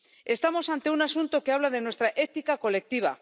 Estamos ante un asunto que habla de nuestra ética colectiva.